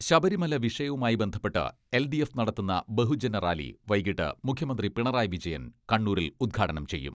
ശബരിമല വിഷയവുമായി ബന്ധപ്പെട്ട് L D F നടത്തുന്ന ബഹുജനറാലി വൈകിട്ട് മുഖ്യമന്ത്രി പിണറായി വിജയൻ കണ്ണൂരിൽ ഉദ്ഘാടനം ചെയ്യും.